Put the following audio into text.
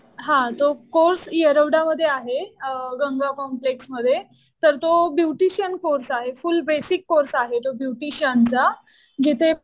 हा. तो कोर्स येरवडा मध्ये आहे. गंगा कॉम्प्लेक्स मध्ये. तर तो ब्युटिशियन कोर्स आहे. फुल बेसिक कोर्स आहे तो ब्युटिशियनचा. जिथे